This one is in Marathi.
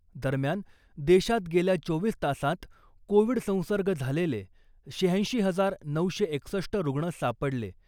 दरम्यान , देशात गेल्या चोवीस तासांत कोविड संसर्ग झालेले शहाऐंशी हजार नऊशे एकसष्ट रुग्ण सापडले .